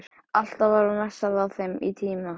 Alltaf var messað á þeim tíma